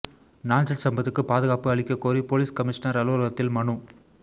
நாஞ்சில் சம்பத்துக்கு பாதுகாப்பு அளிக்க கோரி போலீஸ் கமிஷனர் அலுவலகத்தில் மனு